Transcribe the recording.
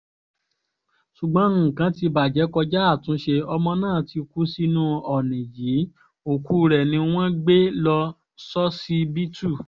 ṣùgbọ́n nǹkan ti bàjẹ́ kọjá àtúnṣe ọmọ náà ti kú sínú ọ̀nì yìí òkú rẹ̀ ni wọ́n gbé lọ ṣọsibítù